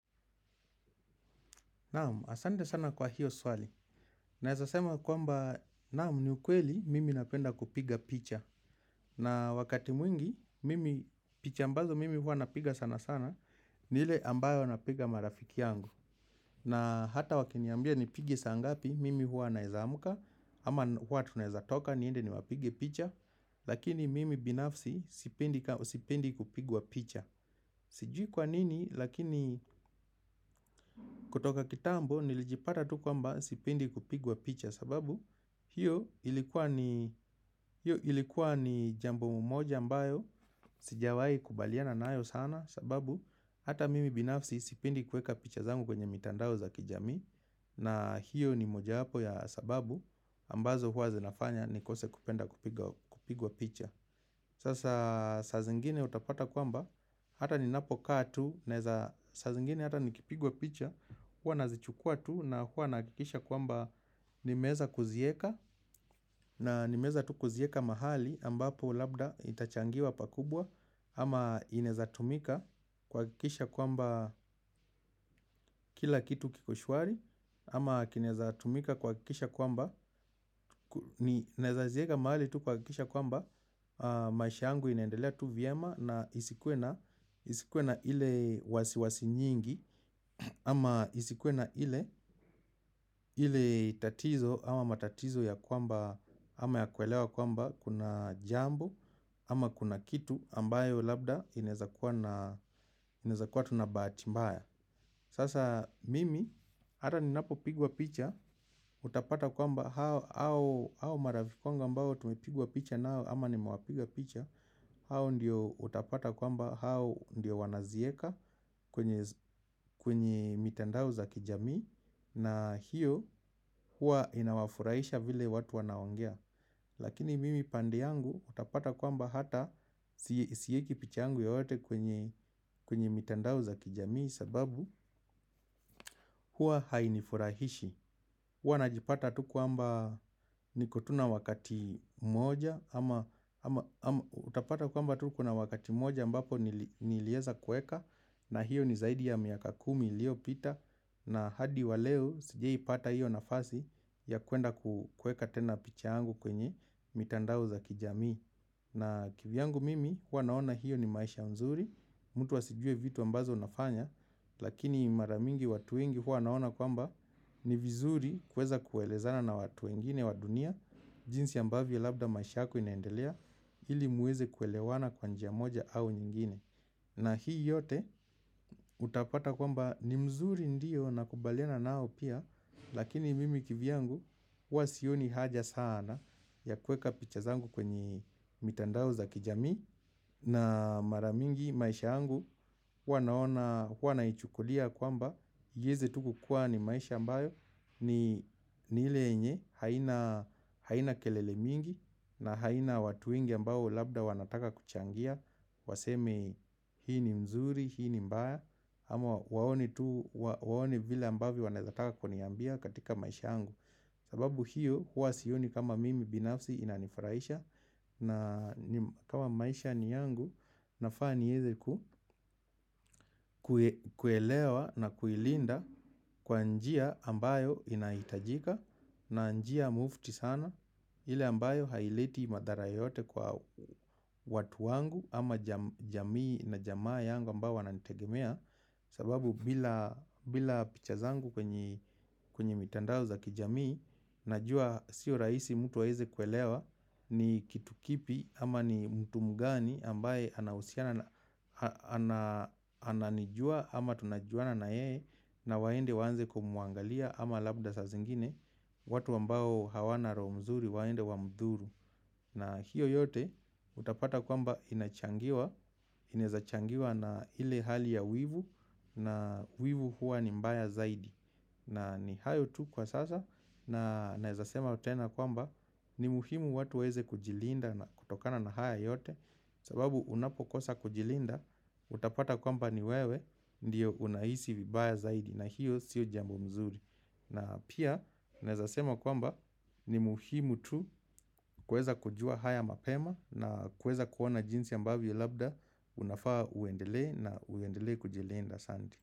Naamu, asante sana kwa hiyo swali. Naezasema kwamba naam ni ukweli mimi napenda kupiga picha. Na wakati mwingi, mimi picha ambazo mimi huwa napiga sana sana, nile ambayo napiga marafiki yangu. Na hata wakiniambia nipige saa ngapi mimi huwa naezamuka, ama huwa tunaezatoka niende niwapige picha. Lakini mimi binafsi sipendi kupigwa picha. Sijui kwa nini lakini kutoka kitambo nilipata tu kwamba sipendi kupigwa picha. Hiyo ilikuwa ni jambo mmoja ambayo sijawai kubaliana naayo sana sababu hata mimi binafsi sipendi kueka picha zangu kwenye mitandao za kijamii. Na hiyo ni moja wapo ya sababu ambazo huwa zinafanya nikose kupenda kupigwa picha. Sasa saa zingine utapata kwamba, hata ninapokaa tu, saa zingine hata nikipigwa picha, hua nazichukua tu na huwa nakikisha kwamba nimeeza kuzieka na nimeza tu kuzieka mahali ambapo labda itachangiwa pakubwa ama inaeza tumika kuwakikisha kwamba kila kitu kiko shwari ama kinezatumika kuwakikisha kwamba naeza zieka mahali tu kuwakikisha kwamba maisha angu inaendelea tu vyema na isikuwe na isikuwe na ile wasiwasi nyingi ama isikuwe na ile ile tatizo ama matatizo ya kwamba ama ya kuelewa kwamba kuna jambo. Ama kuna kitu ambayo labda inezakuwa tuna bahati mbaya. Sasa mimi ata ninapopigwa picha. Utapata kwamba hao maraki wangu ambao tumepigwa picha na nao ama nimewapiga picha. Hao ndiyo utapata kwamba hao ndiyo wanazieka kwenye mitandao za kijamii. Na hiyo huwa inawafurahisha vile watu wanaongea. Lakini mimi pande yangu utapata kwamba hata sieki picha yangu yoyote kwenye mitandao za kijamii. Sababu huwa hainifurahishi. Huwa najipata tu kwamba niko tu na wakati mmoja ama utapata kwamba tu kuna wakati moja ambapo nilieza kueka na hiyo ni zaidi ya miaka kumi ilio pita na hadi waleo sijai pata hiyo nafasi ya kuenda kueka tena picha yangu kwenye mitandao za kijamii. Na kivyangu mimi huwa naona hiyo ni maisha nzuri, mtu asijue vitu ambazo nafanya, lakini maramingi watu wengi huwa wanaona kwamba ni vizuri kweza kuelezana na watu wengine wa dunia, jinsi ambavyo labda maisha yako inaendelea, ili muweze kuelewana kwa njia moja au nyingine. Na hii yote utapata kwamba ni mzuri ndiyo nakubaliana nao pia, lakini mimi kivyangu huwa sioni haja sana ya kueka picha zangu kwenye mitandao za kijamii na mara mingi maisha huwa naichukulia kwamba ieze tu kukuwa ni maisha ambayo haina kelele mingi na haina watu wengi ambao labda wanataka kuchangia. Waseme hii ni nzuri hii ni mbaya ama waone venye wanataka kuniambia katika maisha yangu. Sababu hiyo huwa sioni kama mimi binafsi inanifraisha. Na kama maisha ni yangu nafaa nieze kuelewa na kuilinda. Kwa njia ambayo inaitajika na njia mufti sana. Ile ambayo haileti madhara yoyote kwa watu wangu ama jamii na jamaa yangu ambayo wanantegemea. Sababu bila picha zangu kwenye mitandao za kijamii. Najua sio raisi mtu aeze kuelewa ni kitu kipi ama ni mtu mgani ambaye ananijua ama tunajuana na yeye na waende waanze kumuangalia ama labda saa zingine watu ambao hawana roo mzuri waende wamthuru. Na hiyo yote utapata kwamba inachangiwa. Ineza changiwa na ile hali ya wivu. Na wivu huwa ni mbaya zaidi. Na ni hayo tu kwa sasa. Na naeza sema tena kwamba ni muhimu watu waeze kujilinda na kutokana na haya yote. Sababu unapokosa kujilinda. Utapata kwamba ni wewe ndiyo unaisi vibaya zaidi. Na hiyo sio jambo mzuri. Na pia naezasema kwamba ni muhimu tu kweza kujua haya mapema na kweza kuona jinsi ambavyo labda unafaa uendele na uendele kujilenda asanti.